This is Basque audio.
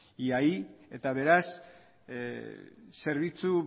beraz zerbitzu